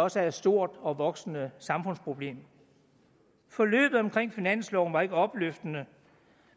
også er et stort og voksende samfundsproblem forløbet omkring finansloven var ikke opløftende